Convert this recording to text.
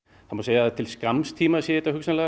það má segja að til skamms tíma séu þetta